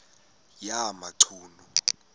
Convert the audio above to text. yamachunu